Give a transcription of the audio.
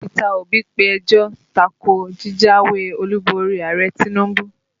Peter Obi pe ẹjọ́ ta ko jíjáwé Olúborí Ààrẹ Tinubu